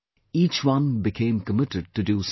Each one became committed to do something